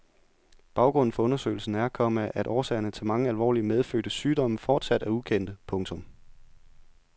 Baggrunden for undersøgelsen er, komma at årsager til mange alvorlige medfødte sygdomme fortsat er ukendte. punktum